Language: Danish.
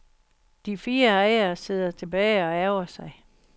De fire ejere sidder tilbage og ærgrer sig.